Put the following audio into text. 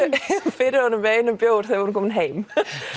fyrir honum með einum bjór þegar við vorum komin heim